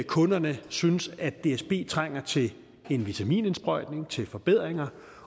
kunderne synes at dsb trænger til en vitaminindsprøjtning til forbedringer